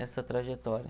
Essa trajetória.